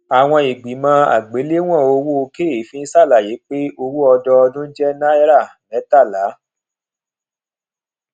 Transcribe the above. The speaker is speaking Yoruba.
àwọn ìgbìmò àgbéléwòn owo keefin ṣàlàyé pé owó ọdọọdún jé náirìn mẹtàlá